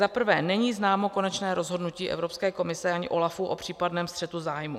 Za prvé, není známo konečné rozhodnutí Evropské komise ani OLAF o případném střetu zájmů.